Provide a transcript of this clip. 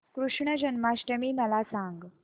कृष्ण जन्माष्टमी मला सांग